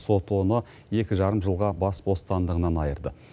сот оны екі жарым жылға бас бостандығынан айырды